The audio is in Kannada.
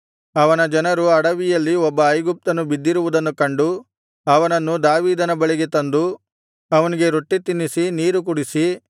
ಅವನ ಜನರು ಅಡವಿಯಲ್ಲಿ ಒಬ್ಬ ಐಗುಪ್ತನು ಬಿದ್ದಿರುವುದನ್ನು ಕಂಡು ಅವನನ್ನು ದಾವೀದನ ಬಳಿಗೆ ತಂದು ಅವನಿಗೆ ರೊಟ್ಟಿ ತಿನ್ನಿಸಿ ನೀರು ಕುಡಿಸಿ